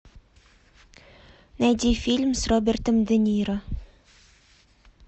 найди фильм с робертом де ниро